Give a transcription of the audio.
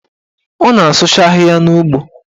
Ọ na-asụcha ahịhịa n'ugbo